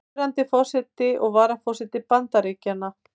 Núverandi forseti og varaforseti Bandaríkjanna.